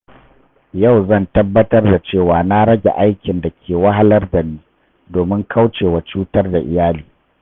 Yau zan tabbatar da cewa na rage aikin da ke wahalar da ni, domin kauce wa cutar da iyali.